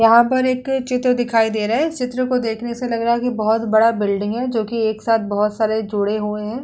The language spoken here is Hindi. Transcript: यहां पर एक चित्र दिखाई दे रहा है। चित्र को देखने से लग रहा है कि बहोत बड़ा बिल्डिंग है जो कि एक साथ बहोत सारे जुड़े हुए हैं।